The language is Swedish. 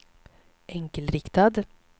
enkelriktad